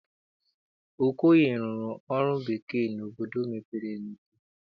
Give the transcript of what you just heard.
Okoye rụrụ ọrụ bekee n'obodo mepere emepe.